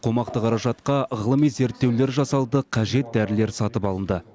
қомақты қаражатқа ғылыми зерттеулер жасалды қажет дәрілер сатып алынды